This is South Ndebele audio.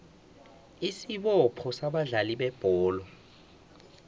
isibopho sabadlali bebholo